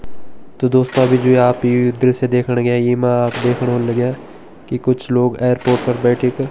तो दोस्तों अभी जो आप ये दृश्य देखण लाग्यां ये मा आप दिखेण होण लग्यां की कुछ लोग एयरपोर्ट पर बैठी की --